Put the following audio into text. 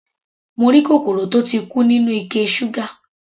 Mo rí kòkòrò tó ti kú nínú ike ṣúgà.